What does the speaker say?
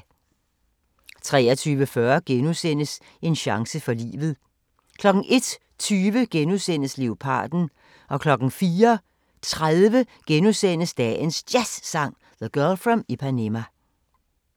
23:40: En chance for livet * 01:20: Leoparden * 04:30: Dagens Jazzsang: The Girl From Ipanema *